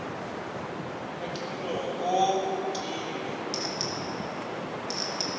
ka kimologo oo ke be